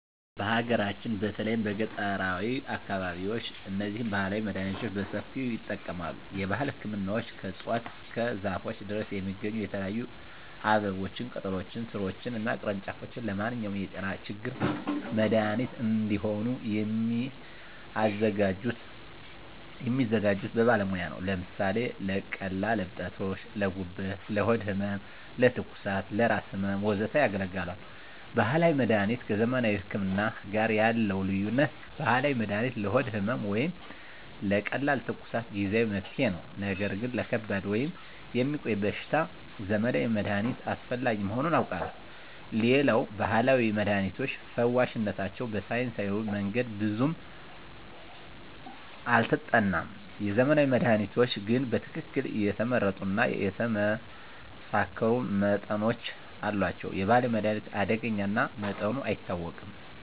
በሀገራችን በተለይም በገጠራዊ አካባቢዎች እነዚህን ባህላዊ መድሃኒቶች በሰፊው ይጠቀማሉ። የባህል ህክምናዎች ከእፅዋት እስከ ዛፎች ድረስ የሚገኙ የተለያዩ አበቦችን፣ ቅጠሎችን፣ ሥሮችን እና ቅርንጫፎች ለማንኛውም የጤና ችግር መድሃኒት እንዲሆኑ የሚያዘጋጁት በባለሙያ ነው። ለምሳሌ ለቀላል እብጠቶች: ለጉበት፣ ለሆድ ህመም፣ ለትኩሳት፣ ለራስ ህመም፣ ወዘተ ያገለግላሉ። ባህላዊ መድሀኒት ከዘመናዊ ህክምና ጋር ያለው ልዩነት፦ ባህላዊ መድሃኒት ለሆድ ህመም ወይም ለቀላል ትኩሳት ጊዜአዊ መፍትሄ ነው። ነገር ግን ለከባድ ወይም የሚቆይ በሽታ የዘመናዊ መድሃኒት አስፈላጊ መሆኑን አውቃለሁ። ሌላው የባህላዊ መድሃኒቶች ፈዋሽነታቸው በሳይንሳዊ መንገድ ብዙም አልተጠናም። የዘመናዊ መድሃኒቶች ግን በትክክል የተመረጡ እና የተመሳከሩ መጠኖች አሏቸው። የባህላዊ መድሃኒት አደገኛ እና መጠኑ አይታወቅም።